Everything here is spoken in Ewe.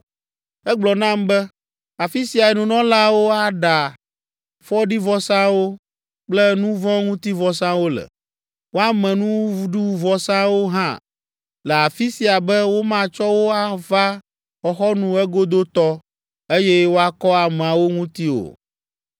Egblɔ nam be, “Afi siae nunɔlaawo aɖa fɔɖivɔsawo kple nu vɔ̃ ŋuti vɔsawo le. Woame nuɖuvɔsawo hã le afi sia be womatsɔ wo ava xɔxɔnu egodotɔ, eye woakɔ ameawo ŋuti o.”